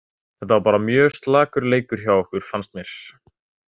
Þetta var bara mjög slakur leikur hjá okkur fannst mér.